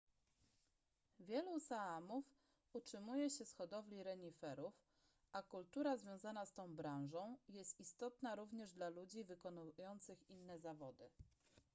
wielu saamów utrzymuje się z hodowli reniferów a kultura związana z tą branżą jest istotna również dla ludzi wykonujących inne zawody